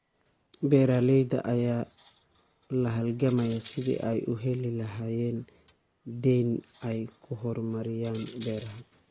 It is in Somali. Beeralayda ayaa la halgamaya sidii ay u heli lahaayeen deyn ay ku horumariyaan beeraha.